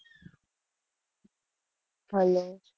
Hello?